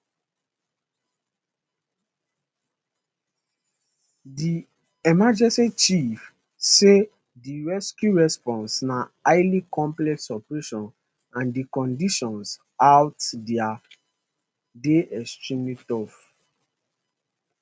di emergency chief say di rescue response na highly complex operation and di conditions out dia dey extremely rough